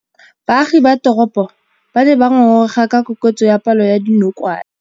Baagi ba teropo ba ne ba ngôngôrêga ka kôkêtsô ya palô ya dinokwane.